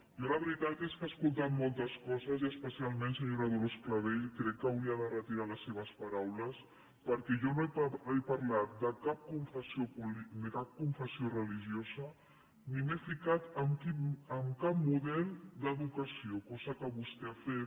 jo la veritat és que he escoltat moltes coses i especialment senyora dolors clavell crec que hauria de retirar les seves paraules perquè jo no he parlat de cap confessió religiosa ni m’he ficat en cap model d’educació cosa que vostè ha fet